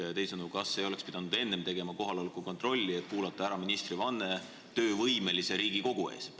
Ehk teisisõnu, kas ei oleks pidanud enne tegema kohaloleku kontrolli, et kuulata ära ministri vanne töövõimelise Riigikogu ees?